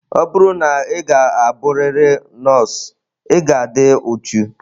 Ọ bụrụ na ị ga-abụrịrị nọọsụ, ị ga-adị uchu.